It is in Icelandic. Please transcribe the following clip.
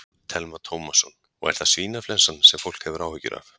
Telma Tómasson: Og er það svínaflensan sem fólk hefur áhyggjur af?